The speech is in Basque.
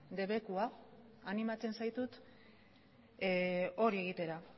debekua animatzen zaitut hori egitera